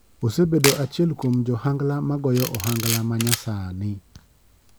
Osebedo achiel kuom jo ohangala magoyo ohangal ma nyasani.